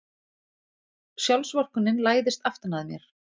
Sjálfsvorkunnin læðist aftan að mér.